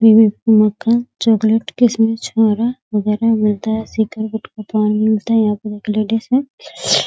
उम्म मक्खन चॉकलेट किशमिश छुहारा वगेरह मिलता है। सिगरेट गुटखा पान मिलता है। यहाँ पर एक लेडीज है।